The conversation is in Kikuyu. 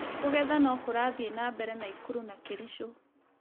Kũgetha no kũrathiĩ na mbere Nakuru na Kericho